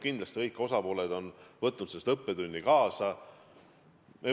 Kindlasti on kõik osapooled sellest õppetunni saanud.